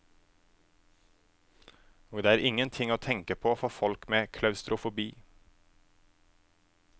Og det er ingen ting å tenke på for folk med klaustrofobi.